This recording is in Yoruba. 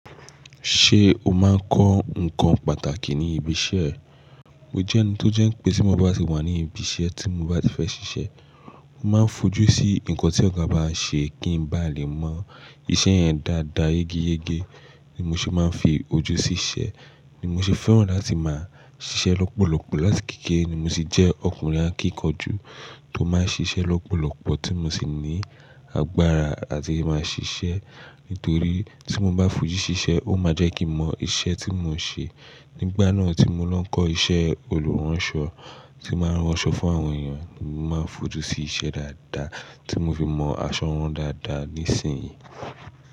Ṣé o máa ń kọ́ nǹkan pàtàkì ní ibi iṣẹ́ ẹ? Mo jẹ́ ẹni tó jẹ́ pé tí mo bá sì wà ní ibi iṣẹ́ tí mo bá ti fẹ́ ṣiṣẹ́, mo máa ń fojú sí nǹkan tí ọ̀gá bá ṣe kí n bá lè mọ iṣẹ́ yẹn dáadáa, yegeyege ni mo ṣe máa ń fi ojú sí iṣẹ́. Ni mo sì fẹ́ràn láti máa ṣiṣẹ́ lọ́pọ̀lọpọ̀ láti kékeré ni mo tì jẹ́ ọkùnrin akíkanjú tó máa ń ṣiṣẹ́ lọ́pọ̀lọpọ̀ tí mo sì ní agbára àti máa ṣiṣẹ́. Nítorí tí mo bá fojú sí iṣẹ́, ó máa jẹ́ kí mo mọ iṣẹ́ tí mò ń ṣe. Nígbà náà tí mo lọ ń kọ́ iṣẹ́ olùránṣọ tí máa ń rán aṣọ fún àwọn èèyàn, mo máa ń fojú sí iṣẹ́ dáadáa tí mo fi mọ aṣọ rán dáadáa nísìnyí.